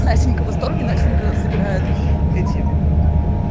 настенька в восторге настенька собирает эти